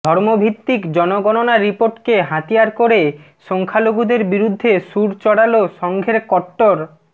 ধর্মভিত্তিক জনগণনা রিপোর্টকে হাতিয়ার করে সংখ্যালঘুদের বিরুদ্ধে সুর চড়াল সঙ্ঘের কট্টর